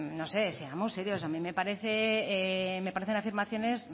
no sé seamos serios a mí me parecen afirmaciones